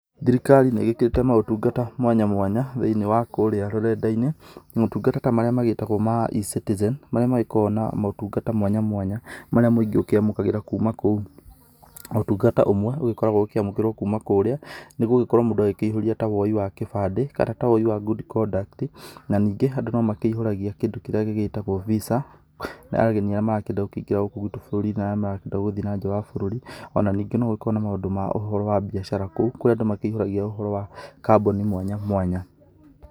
Thirikarĩ nĩ igĩkĩrĩte maũtungata mwanya mwanya thĩiniĩ wa kũrĩa rũrenda-inĩ maũtungata ta marĩa magĩtagwo ma eCitizen, marĩa magĩkoragwo na maũtungata mwanya mwanya marĩa mũingĩ ũkĩamũkagĩra kuma kũu. Ũtungata ũmwe ũgĩkoragwo ũkĩamũkĩrwo kuma kũrĩa, nĩ gũgĩkorwo mũndũ agĩkĩihũria ta woi wa kĩbandĩ kana ta woi wa good conduct. Na ningĩ andũ no makĩihũragia kĩndũ kĩrĩa gĩgĩtagwo Visa ya ageni arĩa marakĩenda kũingĩra bũrũri ũyũ witũ na arĩa marakĩenda gũthiĩ na nja wa bũrũri, o na ningĩ no gũgĩkoragwo na maũndũ ma ũhoro wa biacara kũu. Kũrĩ andũ makĩihũragia ũhoro wa kambuni mwanya mwanya.